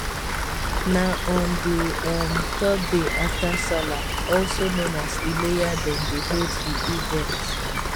na on di um third day afta sallah also known as ileya dem dey hold di event